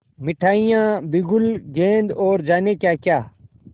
मिठाइयाँ बिगुल गेंद और जाने क्याक्या